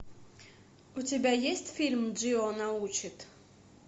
у тебя есть фильм джио научит